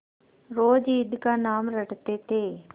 रोज ईद का नाम रटते थे